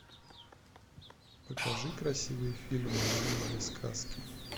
покажи красивый фильм в манере сказки